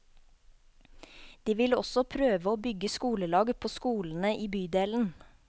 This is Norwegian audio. De vil også prøve å bygge skolelag på skolene i bydelen.